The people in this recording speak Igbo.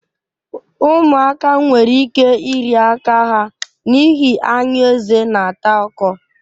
Ụmụaka nwere ike iri aka ha n'ihi anyụ eze na-ata ọkọ